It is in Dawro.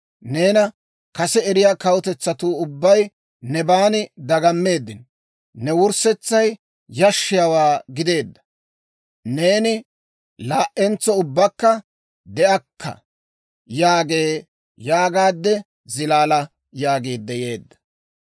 Neena kase eriyaa kawutetsatuu ubbay nebaan dagammeeddino. Ne wurssetsay yashshiyaawaa gideedda; neeni laa"entso ubbakka de'akka» yaagee› yaagaade zilaala» yaagiidde yeedda.